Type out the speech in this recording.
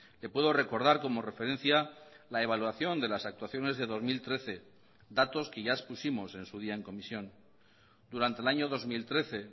le puedo recordar como referencia la evaluación de las actuaciones de dos mil trece datos que ya expusimos en su día en comisión durante el año dos mil trece